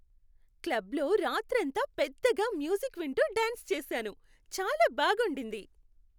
క్లబ్లో రాత్రంతా పెద్దగా మ్యూజిక్ వింటూ డ్యాన్స్ చేశాను. చాలా బాగుండింది.